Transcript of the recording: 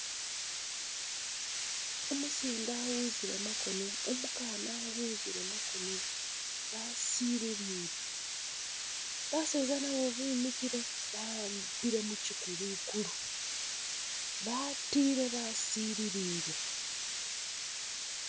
Umusinde awuzile makono, umukana awuzile makono basililile baseza nabo bimikile ba'ambile mukyikulukulu batile basililile.